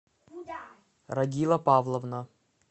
рагила павловна